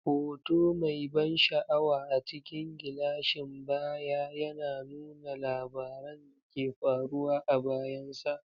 Hoto mai ban sha'awa a cikin gilashin baya yana nuna labaran da ke faruwa a bayansa.